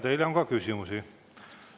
Teile on ka küsimusi.